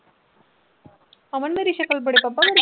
ਅਮਨ ਮੇਰੀ ਸ਼ਕਲ ਬੜੇ